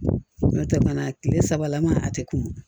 N'o tɛ fana tile sabalama a tɛ kunun